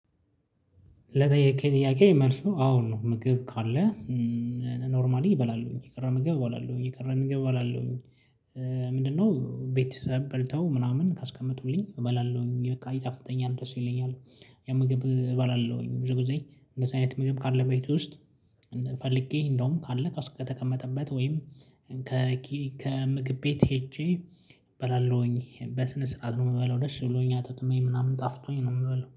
ለጠየከኝ ጥያቄ መልሱ አወ ነው ምግብ ካለ ኖርማሊ እበላለሁኝ የቀረበ ምግብ እበላለሁኝ የቀ ምግብ እበላለሁ። ምንድነው? ቤተሰብ በልተው ምናምን ካስቀመጡልኝ እበላለሁ ሚል ቃል ይጣፍጠኛል ደስ ይለኛል። ያ ምግብ እበላለሁኝ ብዙ ጊዜ እንደዚህ አይነት ምግብ ካለ በቤቱ ውስጥ። ፈልጌ እንደውም ካለ ከተቀመጠበት ወይም። ከምግብ ቤት ሄጄ እበላለሁኝ በስነ ስርዓት ነው የምበለው ደስ ብሎኛል አጣጥሜ ምናምን ጣፍጦኝ ነው የምበላው